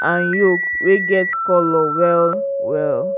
and yolk wey get colour well well.